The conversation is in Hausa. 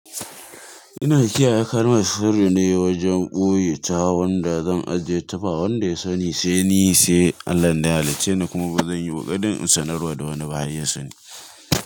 Ina kiyaye kalmal sirri ne wajen ɓoye ta wanda zan ajiye ta ba wanda ya sani sai ni sai Allah dan ya halicce ni kuma ba zan yi ƙoƙarin in sanarwa da wani ba har ya sani.